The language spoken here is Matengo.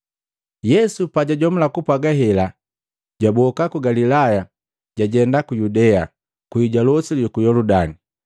Yesu pajajomula kupwaga hela, jwaboka ku Galilaya, jwajenda ku Yudea, kwii ja losi luku Yoludani.